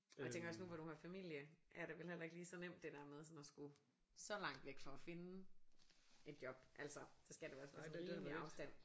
Og jeg tænker også nu hvor du har familie er det vel heller ikke lige så nemt det der med sådan at skulle så langt væk for at finde et job altså så skal det også være sådan rimelig afstand